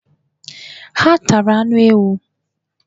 Ha tara anụ ewu.